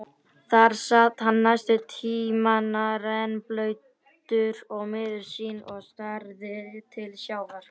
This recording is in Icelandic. Þar sat hann næstu tímana, rennblautur og miður sín og starði til sjávar.